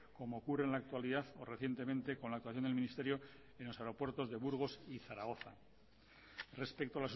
como ocurre en la actualidad o recientemente con la actuación del ministerio en los aeropuertos de burgos y zaragoza respecto